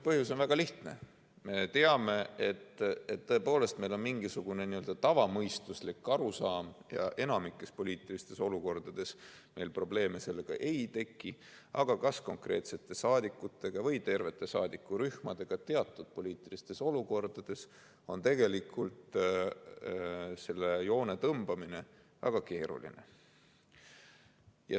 Põhjus on väga lihtne: me teame, et tõepoolest meil on mingisugune n‑ö tavamõistuslik arusaam ja enamikus poliitilistes olukordades meil probleeme ei teki, aga konkreetsete saadikute või tervete saadikurühmade puhul on teatud poliitilistes olukordades selle joone tõmbamine tegelikult väga keeruline.